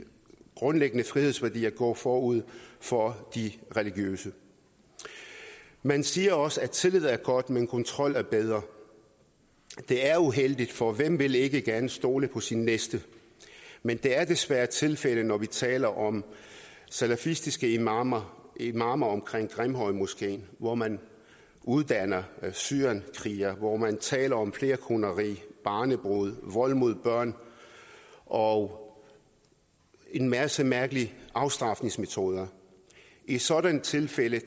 grundlæggende frihedsværdier går forud for de religiøse man siger også at tillid er godt men kontrol er bedre det er uheldigt for hvem vil ikke gerne stole på sin næste men det er desværre tilfældet når vi taler om salafistiske imamer imamer omkring grimhøjmoskeen hvor man uddanner syrienskrigere hvor man taler om flerkoneri barnebrude vold mod børn og en masse mærkelige afstraffelsesmetoder i sådanne tilfælde